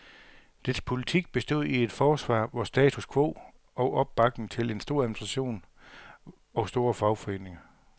Dets politik bestod i et forsvar for status quo og opbakning til en stor administration og store fagforeninger.